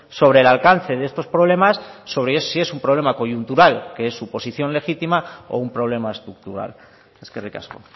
sobre el alcance de estos problemas sobre si es un problema coyuntural que es su posición legítima o un problema estructural eskerrik asko